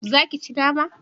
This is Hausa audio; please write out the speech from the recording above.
Za ki ci nama?